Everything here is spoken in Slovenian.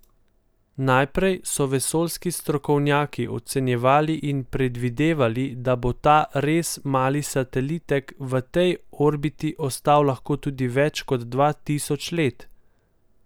Najprej so vesoljski strokovnjaki ocenjevali in predvidevali, da bo ta res mali satelitek v tej orbiti ostal lahko tudi več kot dva tisoč let.